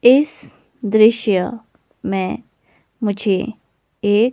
इस दृश्य में मुझे एक--